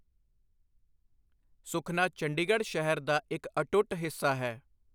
ਸੁਖਨਾ ਚੰਡੀਗੜ੍ਹ ਸ਼ਹਿਰ ਦਾ ਇੱਕ ਅਟੁੱਟ ਹਿੱਸਾ ਹੈ।